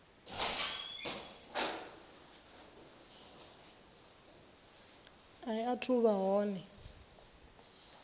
i athu u vha hone